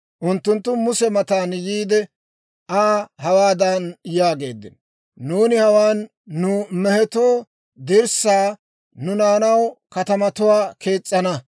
Unttunttu Muse mata yiide, Aa hawaadan yaageeddino; «Nuuni hawaan nu mehetoo dirssaa, nu naanaw katamatuwaa kees's'ana.